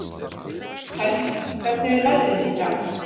Hermína, hvernig er veðrið í dag?